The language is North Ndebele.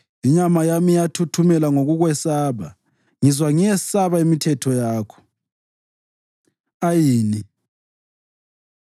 Inyama yami iyathuthumela ngokukwesaba; ngizwa ngiyesaba imithetho yakho. ע Ayin